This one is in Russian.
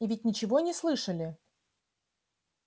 и ведь ничего не слышали